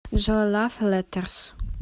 джой лав леттерс